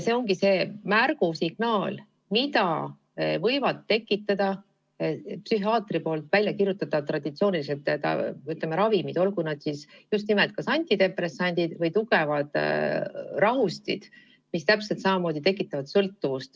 See ongi see märgusignaal: mida võivad tekitada psühhiaatri väljakirjutatavad traditsioonilised ravimid, olgu need siis antidepressandid või tugevad rahustid, mis täpselt samamoodi tekitavad sõltuvust.